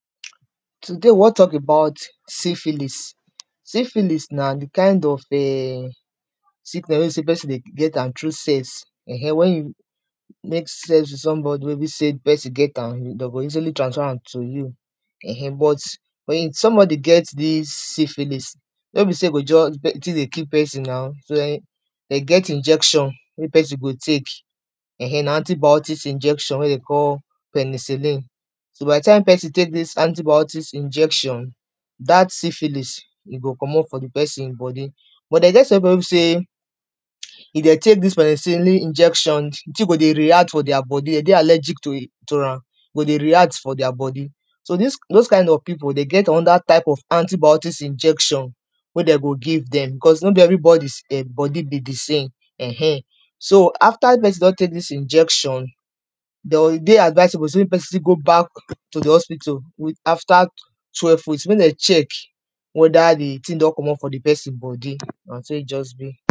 Today we wan talk about syphilis, syphilis na di kain of um sickness wey be sey pesin dey get am through sex um wen you make sex with some body wey be sey di pesin get am dem go easily transfer am to you[um] but wen somebody get dis syphilis no be sey you go just, di tin dey kill pesin na, dey get injection wey pesin go take um na antibiotics injection wey dey call penicillin by di time pesin take dis antibiotics injection dat syphilis e go comot for di pesin body, but dey get some pipu wey be sey if dem take dis penicillin injection, di tin go dey react for dia body dey dey allergic to am e go dey react for dia body, dose kind of pipu dem get anoda antibiotics injection wey dem go give dem becos no be every body dem body be di same um. So after di pesin don take dis injection e dey advisable say mey pesin still go back to di hospital after twelve weeks mey dem check weda di tin don comot from di pesin body, na so e just be.